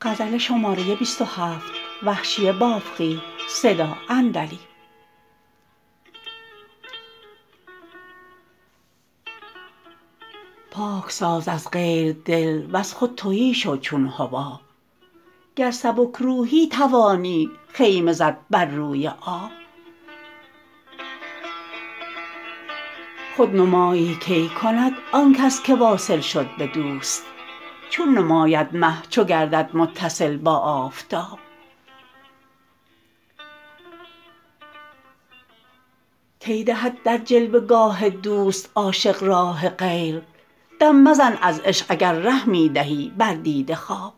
پاک ساز از غیر دل وز خود تهی شو چون حباب گر سبک روحی توانی خیمه زد بر روی آب خودنمایی کی کند آن کس که واصل شد به دوست چون نماید مه چو گردد متصل با آفتاب کی دهد در جلوه گاه دوست عاشق راه غیر دم مزن از عشق اگر ره می دهی بر دیده خواب